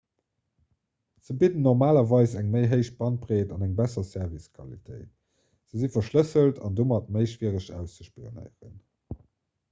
se bidden normalerweis eng méi héich bandbreet an eng besser servicequalitéit se si verschlësselt an domat méi schwiereg auszespionéieren